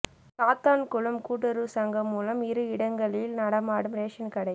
சாத்தான்குளம் கூட்டுறவு சங்கம் மூலம் இரு இடங்களில் நடமாடும் ரேஷன் கடை